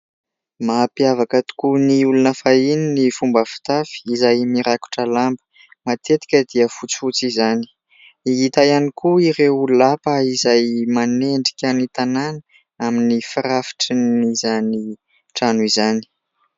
Mampiavaka tokoa ny olona fahiny ny fomba fitafy izay mirakotra lamba. Matetika dia fotsifotsy izany. Hita ihany koa ireo lapa izay manendrika ny tanàna amin'ny firafitran'izany trano izany.